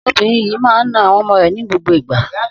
Obìnrin yìí máa ń na àwọn ọmọ rẹ̀ ní gbogbo ìgbà.